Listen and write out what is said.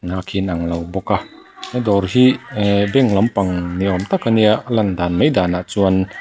khi an ang lo bawk a dawr hi ehh bank lampang ni awm tak a nia a lan dan mai danah chuan--